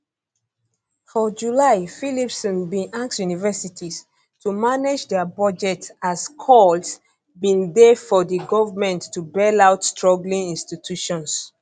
for july phillipson bin ask universities to manage dia budgets as calls bin dey for di government to bail out struggling institutions